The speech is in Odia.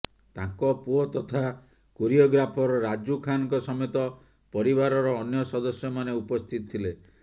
ତାଙ୍କ ପୁଅ ତଥା କୋରିଓଗ୍ରାଫର ରାଜୁ ଖାନଙ୍କ ସମେତ ପରିବାରର ଅନ୍ୟ ସଦସ୍ୟମାନେ ଉପସ୍ଥିତ ଥିଲେ